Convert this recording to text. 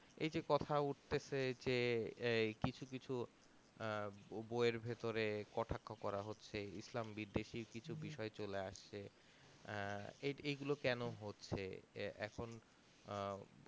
এই যে কথা উঠতেছে যে এই কিছু কিছু আহ বই এর ভেতরে কথক করা হচ্ছে এই ইসলাম বিদেশি কিছু বিষয়ে চলে আছে আহ এই গুলো কোনো হচ্ছে এখুন আহ